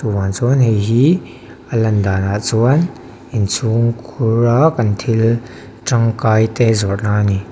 vang chuan a hei hi a lan danah chuan inchhungkhur a kan thil tangkainte zawrhna a ni.